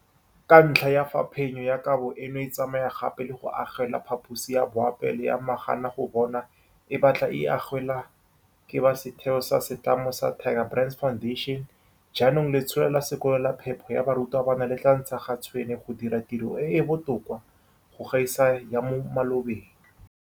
Ka ntlha ya fa phenyo ya kabo eno e tsamaya gape le go agelwa phaposi ya boapeelo ya maganagobonwa e ba tla e agelwang ke ba setheo sa setlamo sa Tiger Brands Foundation, jaanong letsholo la sekolo la phepo ya barutwana le tla ntsha ga tshwene go dira tiro e e botoka go gaisa ya mo malobeng.